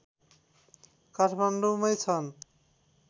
काठमाडौँमै छन्